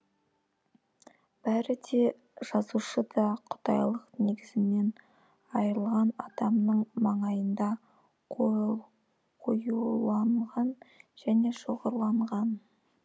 бәрі де жазушыда құдайлық негізінен айырылған адамның маңайында қоюланған және шоғырланған